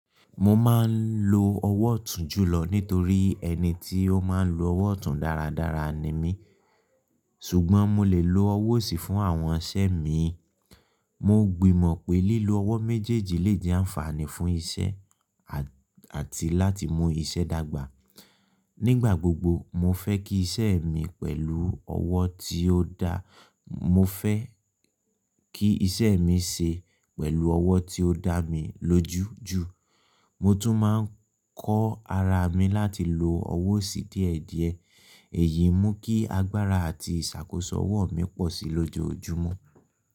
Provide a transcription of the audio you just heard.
Mo máa ń lo ọwọ́ tún jùlọ nítorí ẹni tí ó máa ń lo ọwọ́ tún dáradára ni mí, ṣùgbọ́n mo lè lo ọwọ́ sì fún àwọn iṣẹ́ mi. Mo gbìmọ̀ pé lílo ọwọ́ méjèèjì lè di àǹfààní fún iṣẹ́ àti láti mú iṣẹ́ dàgbà. Nígbà gbogbo, mo fẹ́ kí iṣẹ́ mi pẹ̀lú ọwọ́ tí ó da, mo fẹ́ kí iṣẹ́ mi ṣe pẹ̀lú ọwọ́ tí ó dá mi lójú ju. Mo tun maa n ko ara mi lati lo owo osi diedie, eyi mu ki agbara ati isakosk owo mi po si lojoojumo.